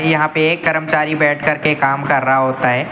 यहाँ पे एक कर्मचारी बैठ कर के काम कर रहा होता है।